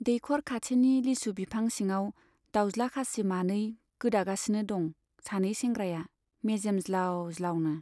दैखर खाथिनि लिसु बिफां सिङाव दाउज्ला खासि मानै गोदागासिनो दं सानै सेंग्राया मेजेम ज्लाउ ज्लाउनो।